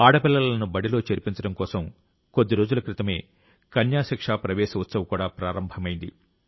ఆడపిల్లలను బడిలో చేర్పించడం కోసం కొద్దిరోజుల క్రితమే కన్యాశిక్ష ప్రవేశ ఉత్సవ్ కూడా ప్రారంభమైంది